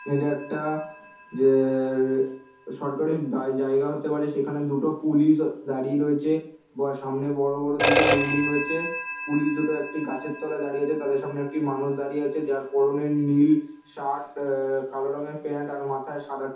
এটা একটা যেএ- সরকারি জাই জায়গা হতে পারে সেখানে দুটো পুলিশ দাঁড়িয়ে রয়েছে সামনে দুটো বড়ো বড়ো দুটো বিল্ডিং রয়েছে পুলিশ দুটো একটি গাছের তলায় দাঁড়িয়ে আছে তাদের সামনে একটি মানুষ দাঁড়িয়ে আছে যার পরনে নীল শার্ট এ কালো প্যান্ট আর মাথায় সাদা ট--